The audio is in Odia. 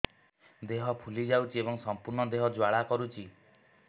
ଦେହ ଫୁଲି ଯାଉଛି ଏବଂ ସମ୍ପୂର୍ଣ୍ଣ ଦେହ ଜ୍ୱାଳା କରୁଛି